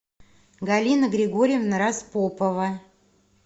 галина григорьевна распопова